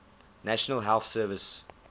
national health service